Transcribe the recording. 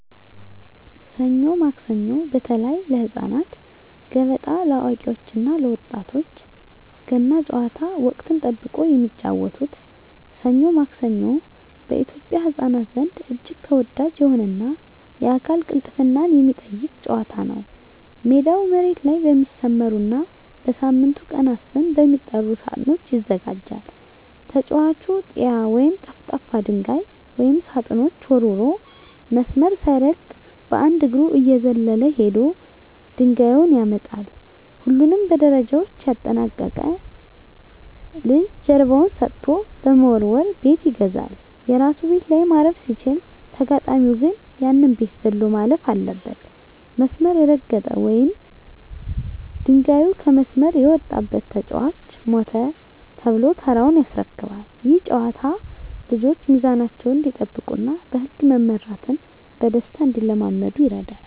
ሰኞ ማክሰኞ (በተለይ ለህፃናት)፣ገበጣ (ለአዋቂዎች እና ለወጣቶች)፣ ገና ጨዋታ (ወቅትን ጠብቆ የሚጫወቱት) "ሰኞ ማክሰኞ" በኢትዮጵያ ህፃናት ዘንድ እጅግ ተወዳጅ የሆነና የአካል ቅልጥፍናን የሚጠይቅ ጨዋታ ነው። ሜዳው መሬት ላይ በሚሰመሩና በሳምንቱ ቀናት ስም በሚጠሩ ሳጥኖች ይዘጋጃል። ተጫዋቹ "ጢያ" ወይም ጠፍጣፋ ድንጋይ ወደ ሳጥኖቹ ወርውሮ፣ መስመር ሳይረግጥ በአንድ እግሩ እየዘለለ ሄዶ ድንጋዩን ያመጣል። ሁሉንም ደረጃዎች ያጠናቀቀ ልጅ ጀርባውን ሰጥቶ በመወርወር "ቤት ይገዛል"። የራሱ ቤት ላይ ማረፍ ሲችል፣ ተጋጣሚው ግን ያንን ቤት ዘሎ ማለፍ አለበት። መስመር የረገጠ ወይም ድንጋዩ ከመስመር የወጣበት ተጫዋች "ሞተ" ተብሎ ተራውን ያስረክባል። ይህ ጨዋታ ልጆች ሚዛናቸውን እንዲጠብቁና በህግ መመራትን በደስታ እንዲለማመዱ ይረዳል።